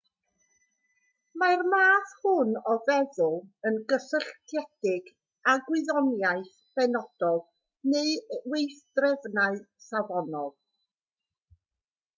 mae'r math hwn o feddwl yn gysylltiedig â gwyddoniaeth benodol neu weithdrefnau safonol